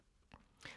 TV 2